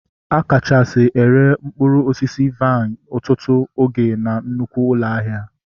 A kachasị ere mkpụrụ osisi vaịn ọtụtụ oge na nnukwu ụlọ ahịa